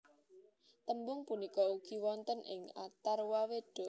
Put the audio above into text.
Tembung punika ugi wonten ing Atharwaweda